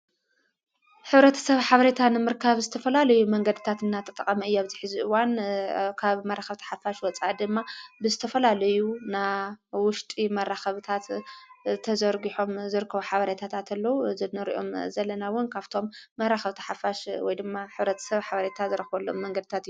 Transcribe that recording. ኅብረት ሰብ ሓበሪታን ምርካብ ዝተፈላለዩ መንገድታት እና ጠጠቐ መእያብጺሒዚዕዋን ካብ መራኸብቲ ሓፋሽ ወፃእ ድማ ብስተፈላለዩ ና ውሽጢ መራኸብታት ተዘርጕሖም ዘርከዉ ሓብሬታታእንተሎዉ ዘነርኦም ዘለናውን ካብቶም መራኸብቲ ሓፋሽ ወ ድማ ኅብረት ሰብ ሓብሪታ ዘረኾወሎም መንገድታት እዩ።